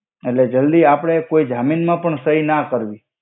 એટ્લે જલ્દિ કોઇ જામિન મા પણ સઈ ના કરવી.